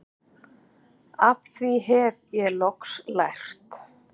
Af því hef ég loks lært